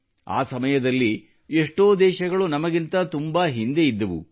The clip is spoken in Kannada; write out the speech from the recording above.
ಆ ಸಮಯದಲ್ಲಿ ಎಷ್ಟೋ ದೇಶಗಳು ನಮಗಿಂತ ತುಂಬಾ ಹಿಂದೆ ಇದ್ದವು